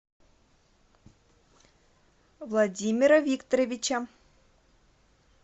владимира викторовича